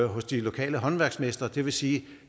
hos de lokale håndværksmestre det vil sige at